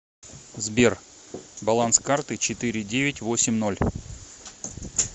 сбер баланс карты четыре девять восемь ноль